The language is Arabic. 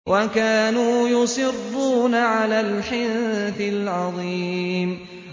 وَكَانُوا يُصِرُّونَ عَلَى الْحِنثِ الْعَظِيمِ